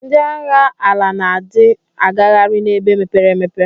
Ndi agha ala na di agaghari na ebe mepere emepe.